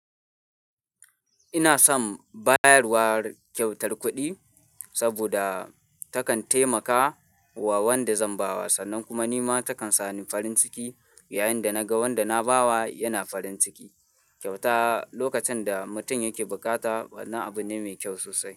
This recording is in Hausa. Ina son bayarwar kyautar kuɗi saboda takan taimaka wa wanda zan bawa sannan kuma nima takan sami farin ciki yayin da naga wanda na bawa yana farin ciki. Kyauta lokacin da mutum yake bukata wannan abu ne mai kyau sosai.